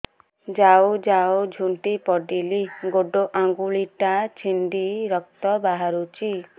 ଯାଉ ଯାଉ ଝୁଣ୍ଟି ପଡ଼ିଲି ଗୋଡ଼ ଆଂଗୁଳିଟା ଛିଣ୍ଡି ରକ୍ତ ବାହାରୁଚି